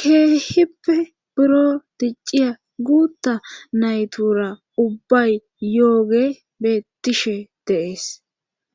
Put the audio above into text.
keehippe buro dicciya guutta naytura ubbay yooge beettishe de'ees